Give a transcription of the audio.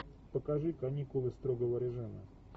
покажи каникулы строгого режима